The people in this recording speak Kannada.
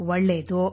ಒಳ್ಳೆಯದು